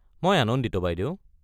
মই আনন্দিত বাইদেউ।